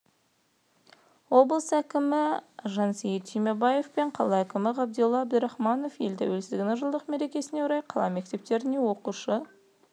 облыс әкіміжансейіт түймебаев пен қала әкімі ғабидолла әбдірахымов ел тәуелсіздігінің жылдық мерекесіне орай қала мектептеріне оқушы